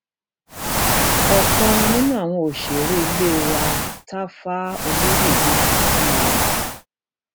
ọkan nínú àwọn òṣèré ilé wa táfá ọlọyédè ti kú o